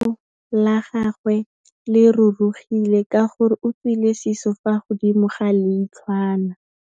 Leitlhô la gagwe le rurugile ka gore o tswile sisô fa godimo ga leitlhwana.